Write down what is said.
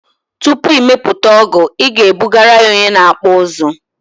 Tupu ị mepụta ọgụ ị ga ebugara ya onye na akpụ ụzụ